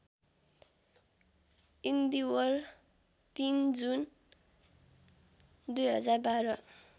इन्दीवर ३ जुन २०१२